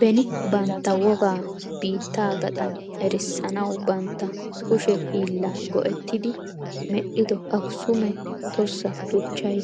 Beni bantta wogaa biittaa gaxan erissanawu bantta kuushshe hiillaa go"ettidi medhido akisuume tossa shuuccay